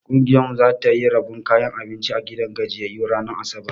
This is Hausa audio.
Ƙungiyar mu za ta yi rabon kayan abinci a gidan gajiyyayu ranar asabar.